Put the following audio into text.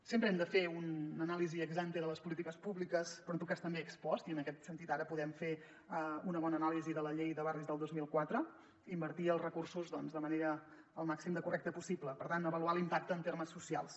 sempre hem de fer una anàlisi ex ante de les polítiques públi·ques però en tot cas també ex post i en aquest sentit ara podem fer una bona anàlisi de la llei de barris del dos mil quatre i invertir els recursos de la manera més correcta possi·ble per tant avaluar l’impacte en termes socials